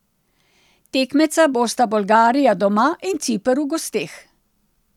Tekmeca bosta Bolgarija doma in Ciper v gosteh.